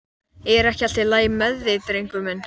Er ekki allt í lagi með þig, drengur minn?